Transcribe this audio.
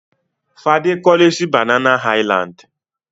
Fadé kọ́lé sí Banana Island.